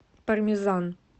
пармезан